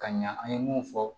Ka ɲa an ye mun fɔ